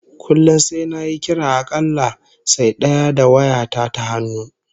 Kullum sai nayi kira a kalla sai daya da waya ta ta hannu